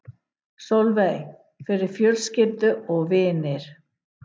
Sólveig: Fyrir fjölskyldu og vini?